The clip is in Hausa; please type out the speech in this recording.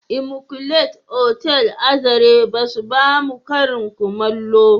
" Immaculate" otal a zarai ba su ba mu Karin kullamo